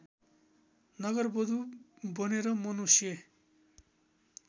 नगरवधु बनेर मनुष्य